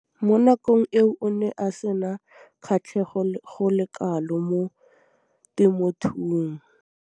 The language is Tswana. Mo nakong eo o ne a sena kgatlhego go le kalo mo temothuong.